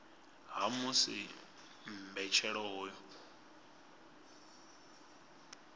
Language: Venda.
ha musi mbetshelo ya hoyu